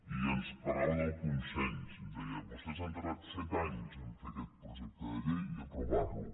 i ens parlava del consens ens deia vostès han tardat set anys a fer aquest projecte de llei i aprovar lo